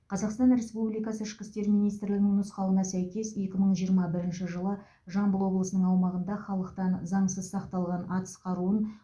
қазақстан республикасы ішкі істер министрлігінің нұсқауына сәйкес екі мың жиырма бірінші жылы жамбыл облысының аумағында халықтан заңсыз сақталған атыс қаруын